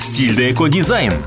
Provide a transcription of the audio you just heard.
стилді ко дизаин